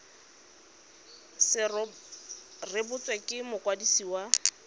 se rebotswe ke mokwadisi wa